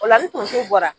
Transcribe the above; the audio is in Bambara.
O la ni tonso bɔra